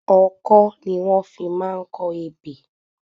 Ọkọ́ ni wọ́n fi máa ń kọ ebè.